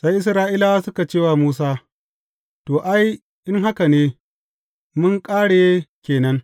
Sai Isra’ilawa suka ce wa Musa, To, ai in haka ne, mun ƙare ke nan!